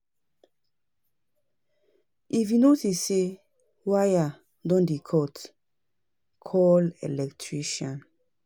If you notice sey wire don dey cut, call electrician